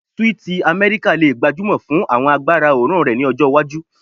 Sweeti Amẹrika le gbajúmọ̀ fún àwọn agbára oòrùn rẹ ni ọjọ iwaju